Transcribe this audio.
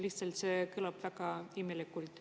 Lihtsalt see kõlab väga imelikult.